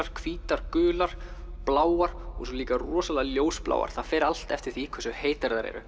hvítar gular bláar og líka rosalega ljósbláar það fer allt eftir því hversu heitar þær eru